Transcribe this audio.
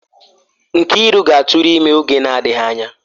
Nkiru ga-atụrụ ime oge na-adịghị anya